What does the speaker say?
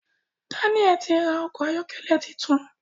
Daniel tí ra Ọkọ̀ ayọ́kẹ́lẹ́ títún.